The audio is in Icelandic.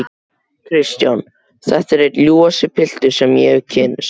KRISTJÁN: Þetta er einn ljúfasti piltur sem ég hef kynnst.